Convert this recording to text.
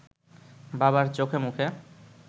বাবার চোখেমুখে